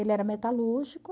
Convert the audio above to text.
Ele era metalúrgico.